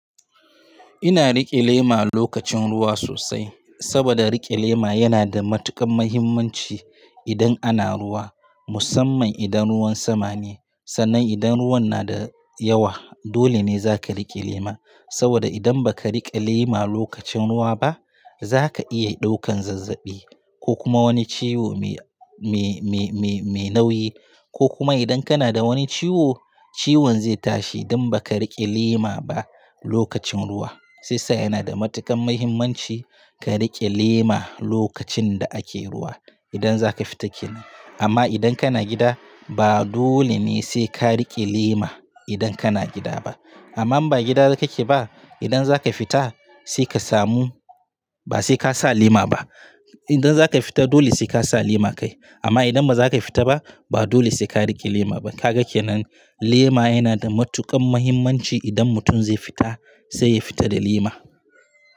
Ina rike lema lokacin ruwa sosai, saboda rike lema yana da matuƙan muhimmanci idan ana ruwa. Musamman idan ruwan sama ne, sannan idan ruwan nada yawa dole ne zaka riƙe lema saboda idan ba ka riƙe lema lokacin ruwa ba, za ka iya ɗaukan zazzaɓi ko kuma wani ciwo mai, mai, mai, mai nauyi. Ko kuma idan kana da wani ciwo, ciwon zai tashi idan baka riƙe lema ba lokacin ruwa. Shiyasa yana da matuƙan muhimmanci ka riƙe lema lokacin da ake ruwa idan za ka fita ke nan. Amma idan kana gida ba dole ne sai ka riƙe lema idan kana gida ba. Amma in ba gida ka ke ba, idan za ka fita sai ka samu ba sai ka sa lema ba. Idan za ka fita dole sai ka sa lema kai. Amma idan ba za ka fita ba, ba dole sai ka riƙe lema ba. Ka ga kenan, lema yana da matuƙan muhimmanci idan mutum zai fita sai ya fita da lema.